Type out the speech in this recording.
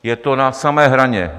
Je to na samé hraně.